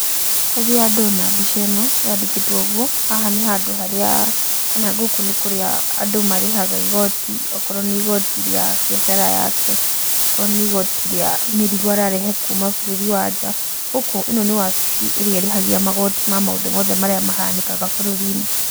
Rĩrĩa ndona mbica ĩno yandĩkĩtwo ũguo, haha nĩ handũ harĩa kana gũkũ nĩ kũrĩa andũ marĩhaga igoti, okorwo nĩ igoti rĩa biacara yake, okorwo nĩ igoti rĩa mĩrigo ararehe kuma bũrũri wa nja. Gũkũ ĩ no nĩ wabici irĩa ĩrĩhagia magoti ma maũndũ mothe marĩa mahanĩkaga bũrũri-inĩ.